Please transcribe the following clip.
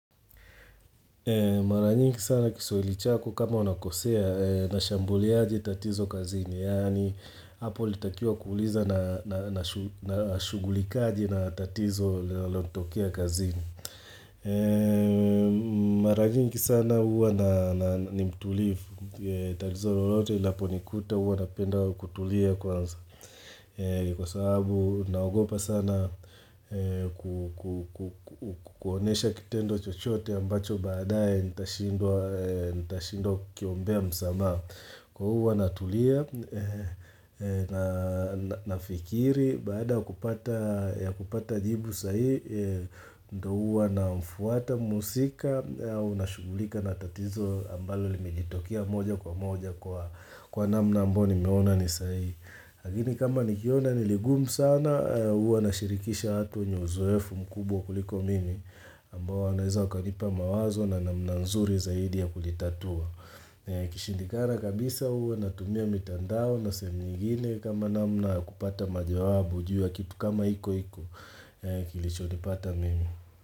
Maranyingi sana kiswahili chako kama unakosea na shambuliaji tatizo kazini yaani hapo ulitakiuwa kuuliza na shugulikaje na tatizo lanalotokea kazini. Maranyingi sana uwa na nimtulifu tatizo lolote linaponikuta uwa napenda kutulia kwanza. Kwa sababu naogopa sana kuonesha kitendo chochote ambacho baadae nitashindwa kukiombea msamaha Kwa huwa natulia na fikiri baada kupata jibu sahihi ndo huwa na mfuata mhusika au na shugulika na tatizo ambalo limejitokea moja kwa moja kwa namna ambayo nimeona ni sahihi. Lkini kama nikiona niligumu sana, huwa nashirikisha watu wenye uzoefu mkubwa kuliko mimi ambao wanaweza wakanipa mawazo na namna nzuri zaidi ya kulitatua. Kishindikana kabisa huwa natumia mitandao na sehemu nyingine kama namna ya kupata majawabu jua kitu kama hiko hiko kilicho nipata mimi.